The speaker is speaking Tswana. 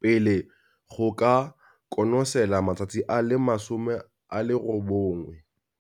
pele go ka konosela matsatsi a le 90.